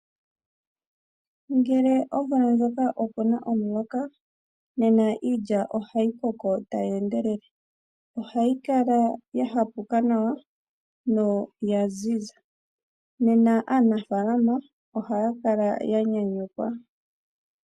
Ngele omvula ndjoka oku na omuloka, nena iilya ohayi koko tayi endelele. Ohayi kala ya hapuka nawa noya ziza , nena aanafaalama ohaya kala ya nyanyukwa.